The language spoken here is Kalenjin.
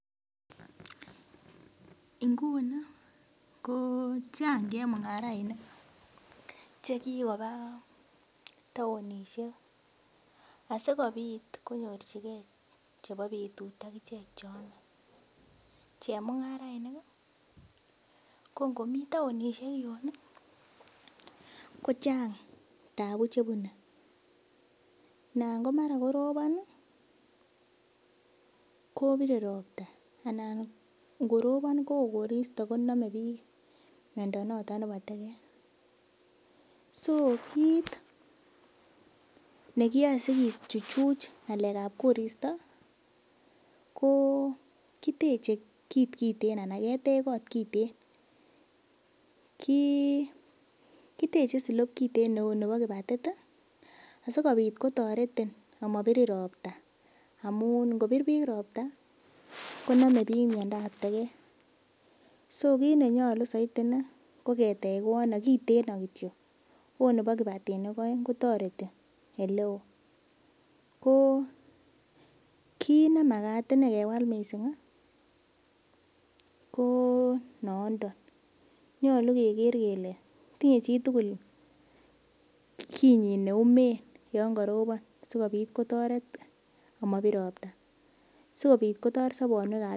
Inguni ko chang chemung'arainik chekikoba taonisiek asikobit konyorjigen chebo betut akichek cheome, chemung'arainik ii ko ng'omi taonisiek yun i kochang' tabu chebune, anan komara korobon ii kobire robta anan ng'orobon kowoo koristo konome miondo noton nebo teget, so kiit nekiyoe sikobit kichuchuj ng'alek ab koristo, ko kiteche kiit kiten anan ketech kot kiten, kiteche silop neu nebo kibatit i asikobit kotoretin komabirin robta, amun ng'obir biik robta konome biik miondab teget, so kiit nenyolu soiti inei ko ketech kot nekiten kityo ot nebo kibatinik oeng kotoreti oleo, ko kiit nemagat inei kewal missing, ko noniton, ny'olu keger kele tinye chitugul kinyin neumen yon karobon sokobit kotoret komabir robta, sikobit kotoret sobonwek ab biik.